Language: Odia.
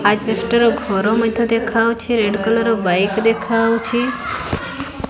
ଆଜବେଷ୍ଟ୍ ର ଘର ମଧ୍ୟ ଦେଖାଯାଉଛି ରେଡ୍ କଲର୍ ବାଇକ୍ ଦେଖାଯାଉଛି।